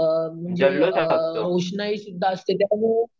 अम रोषणाई सुद्धा असते.